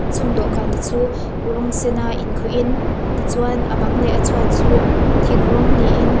chung dawhkan te chu rawng sen a in khuh in tichuan a bang leh a chhuat chu thing rawng niin--